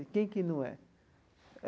E quem que não é?